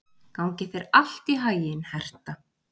Gangi þér allt í haginn, Hertha.